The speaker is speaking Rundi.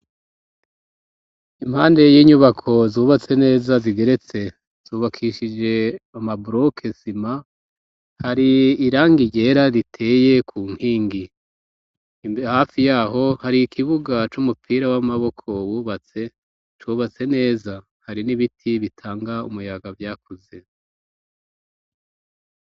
Impande y'inyubako zubatse neza zigeretse zubakishije amaboroke sima, hari irangi ryera riteye ku nkingi hafi yaho hari ikibuga c'umupira w'amaboko bubatse cubatse neza, hari n'ibiti bitanga umuyaga vyakuze.